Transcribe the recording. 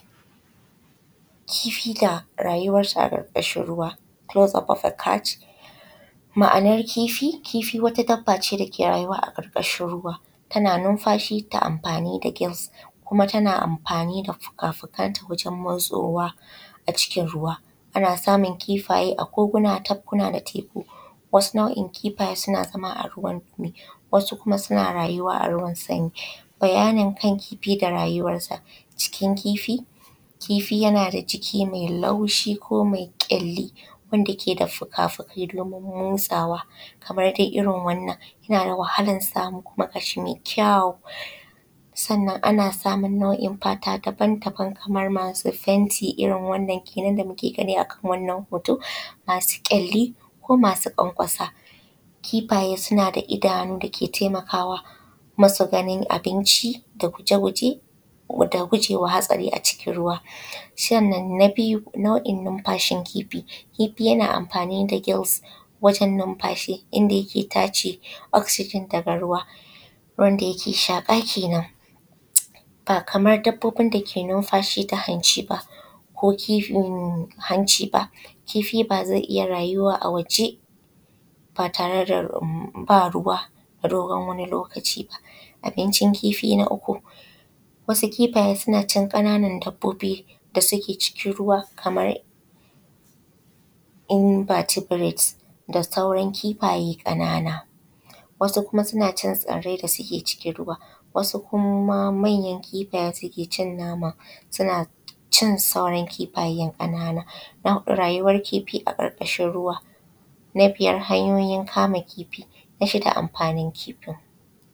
Kifi da rayuwar ta a ƙarƙashin ruwa. Kulos ofofakat. Ma’anar kifi kifi wata dabba ce dake rayuwa ƙarƙashi ruwa tana numfashi ta amfani da gils kuma tana amfani da fuka fukanta wajen guntso ruwa a cikin ruwa. Ana samun kifaye a koguna, tafkuna da teku. Wasu nau’in kifaye suna zama a ruwan zafi asu kuma a ruwan sanyi. Bayani kan kifi da rayuwan ta. Kifi yanada jiki mai laushi ko mai kyalli wanda keda fuka fuki domin motsawa kamar dai irrin wannan yanada wahalan samu kama gashi mai kyau, sannan ana samun nau’in fata daban daban kamar masu fenti irrin wannan kenan da muke gami a kan wannan hoto, masu kyalli ko masu kwankwasa. Kifaye suna da idanu dake taimakawa masu ganin abinci da guje guje koda gujewa hatsari a cikin ruwa. Sannan na biyu nau’in numfashin kifi, kifi yana amfani gils inda yake tace oksijin daga ruwa wanda yake shaƙa kenan. Bakaman dabbobin dake numfashi ta hanci ba kifi bazai iyya ruyuwa a waje ba ruwa na dogon wani lokaci ba. Abincin kifi na uku wasu kifayen sunacin ƙananan dabbobi da suke cikin ruwa kamar inbatebirat da sauran kifaye ƙanan. Wasu kuma sunacin tsirrai da suke cikin ruwa, wasu kuma manyan kifayen sukecin nama suna cin sauran kifayen ƙanana, rayuwar kifi a ƙarƙashin ruwa, na biyar hanyoyin kama kifi. Na shida amfanin kifin.